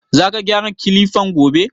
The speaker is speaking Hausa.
Za ka gyara Kilifan gobe?